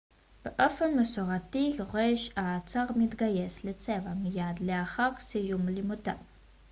באופן מסורתי יורש העצר מתגייס לצבא מיד לאחר סיום לימודיו